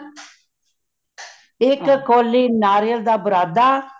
ਇਕ ਕੋਲੀ ਨਾਰੀਅਲ ਦਾ ਬੁਰਾਦਾ